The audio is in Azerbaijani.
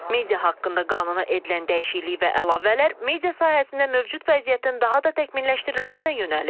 Media haqqında qanuna edilən dəyişiklik və əlavələr media sahəsində mövcud vəziyyətin daha da təkmilləşdirilməsinə yönəlib.